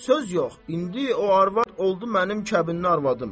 Söz yox, indi o arvad oldu mənim kəbinli arvadım.